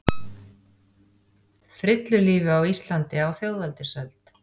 Frillulífi á Íslandi á þjóðveldisöld.